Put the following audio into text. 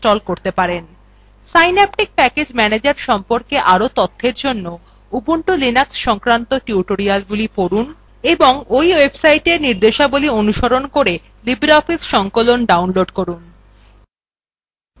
synaptic package manager সম্পর্কে আরও তথ্যের জন্য ubuntu linux সংক্রান্ত টিউটোরিয়ালগুলি পড়ুন এবং এই website নির্দেশাবলী অনুসরণ করে libreoffice সংকলন download করুন